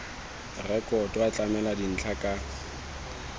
rekoto a tlamela dintlha ka